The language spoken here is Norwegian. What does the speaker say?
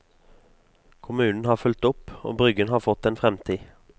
Kommunen har fulgt opp, og bryggen har fått en fremtid.